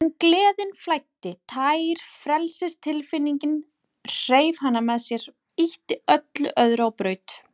En gleðin flæddi, tær frelsistilfinningin, hreif hana með sér, ýtti öllu öðru á braut.